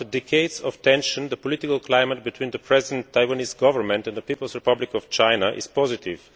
After decades of tension, the political climate between the present Taiwanese Government and the People's Republic of China is positive.